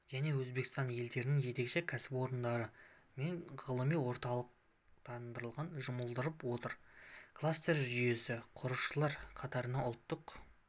және өзбекстан елдерінің жетекші кәсіпорындары мен ғылыми орталықтарын жұмылдырып отыр кластер жүйесін құраушылар қатарында ұлттық